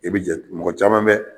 I bɛ mɔgɔ caman bɛ